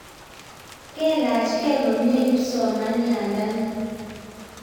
Kelachkey komnye kipsomanianda nin